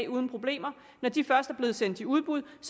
uden problemer bliver sendt i udbud